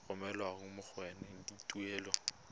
romelwa ga mmogo le tuelo